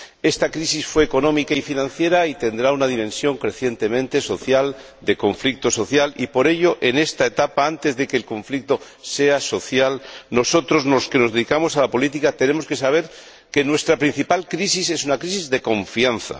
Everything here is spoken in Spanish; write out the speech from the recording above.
Esta crisis fue económica y financiera y tendrá una dimensión crecientemente social, de conflicto social y, por ello, en esta etapa, antes de que el conflicto sea social, nosotros, los que nos dedicamos a la política, tenemos que saber que nuestra principal crisis es una crisis de confianza.